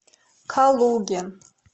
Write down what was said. калуге